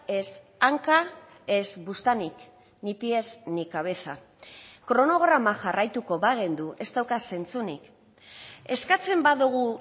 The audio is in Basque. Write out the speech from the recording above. ez hanka ez buztanik ni pies ni cabeza kronograma jarraituko bagenu ez dauka zentzunik eskatzen badugu